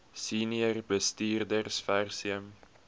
senior bestuurders versuim